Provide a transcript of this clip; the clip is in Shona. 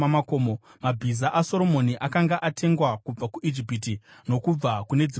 Mabhiza aSoromoni akanga atengwa kubva kuIjipiti nokubva kune dzimwe nyika.